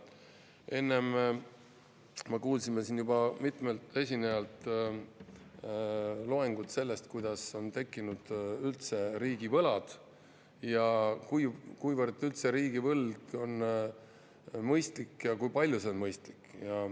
Enne ma kuulsin siin juba mitmelt esinejalt loengut sellest, kuidas on tekkinud üldse riigivõlad ja kuivõrd üldse riigivõlg on mõistlik ja kui suurena see on mõistlik.